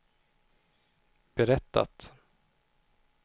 berättat